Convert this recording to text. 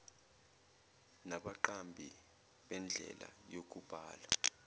nabaqambi bendlela yokubhala